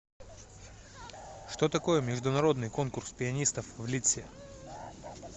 что такое международный конкурс пианистов в лидсе